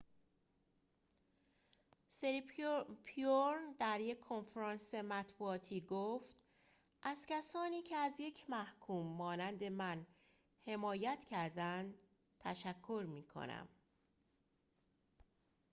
سیریپورن در یک کنفرانس مطبوعاتی گفت از کسانی که از یک محکوم مانند من حمایت کردند تشکر می‌کنم